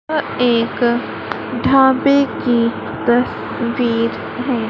यह एक ढाबे की तस्वीर है।